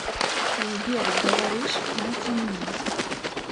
сбер говоришь на темне